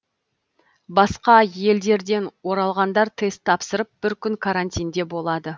басқа елдерден оралғандар тест тапсырып бір күн карантинде болады